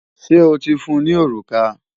Ṣé o ti fún un ní òrùka?